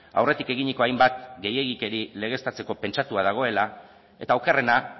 aurretik eginiko hainbat gehiegikeri legeztatzeko pentsatua dagoela eta okerrena